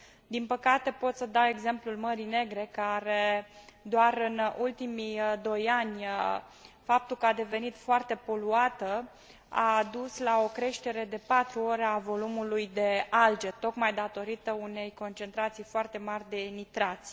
Din păcate, pot să dau exemplul Mării Negre, care doar în ultimii doi ani, faptul că a devenit foarte poluată a dus la o creștere de patru ori a volumului de alge, tocmai datorită unei concentrații foarte mari de nitrați.